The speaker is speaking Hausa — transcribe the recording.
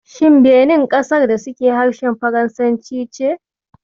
Shin Benin ƙasar da suke harshen faransanci ce?